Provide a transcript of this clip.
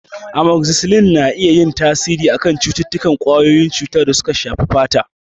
Amokzisilin na iya yin tasiri a kan cututtukan ƙwayoyin cuta da suka shafi fata.